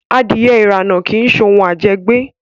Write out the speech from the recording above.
Adìẹ irana kii ṣe òun ajẹgbẹ́